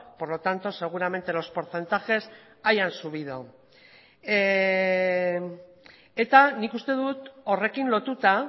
por lo tanto seguramente los porcentajes hayan subido eta nik uste dut horrekin lotuta